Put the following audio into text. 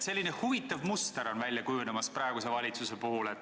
Üsna huvitav muster on välja kujunemas praeguse valitsuse puhul.